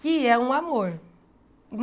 Que é um amor.